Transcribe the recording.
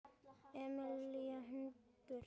Amelía: Hundar.